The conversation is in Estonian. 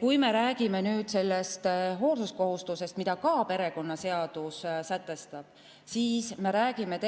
Kui me räägime hoolsuskohustusest, mida ka perekonnaseadus sätestab, siis me räägime